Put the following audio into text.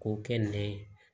K'o kɛ nɛgɛ